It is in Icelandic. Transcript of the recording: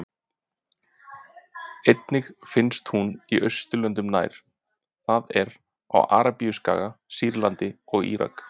Einnig finnst hún í Austurlöndum nær, það er á Arabíuskaga, Sýrlandi og Írak.